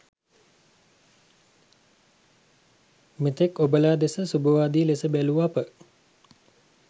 මෙතෙක් ඔබලා දෙස සුභවාදී ලෙස බැලූ අප